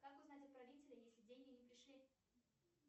как узнать отправителя если деньги не пришли